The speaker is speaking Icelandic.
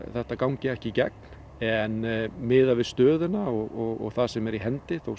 þetta gangi ekki í gegn en miðað við stöðuna og það sem er í hendi þó